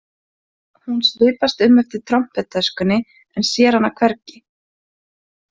Hún svipast um eftir trompettöskunni en sér hana hvergi.